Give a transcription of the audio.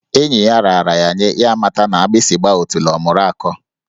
Enyi ya raara ya nye, ya amata na agbịsị gbaa otule ọ mụru akọ.